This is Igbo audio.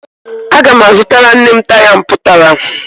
Aga m azụtara nne m taya mpụtara